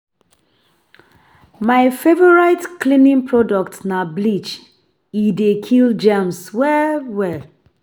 My favorite cleaning product na bleach, e dey kill germs well well.